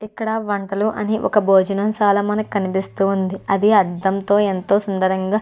ఇక్కడ వంటలు అని భోజనం చాలా మనకి కనిపిస్తూ ఉంది. అది అద్దంతో ఎంతో సుందరంగా --